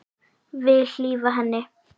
Vil hlífa henni.